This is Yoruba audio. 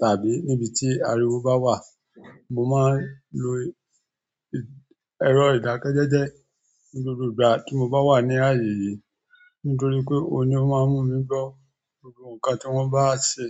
tàbí nibi ti ariwo ba wa. Mo máa ń lo ẹ̀rọ ìdákẹ́jẹ́jẹ́ ní gbogbo ìgbà tí mo bá wà ní ayé yìí nítorí pé òun ni ó máa ń mú mi gbọ́ gbogbo nǹkan tí wọ́n bá ń ṣe.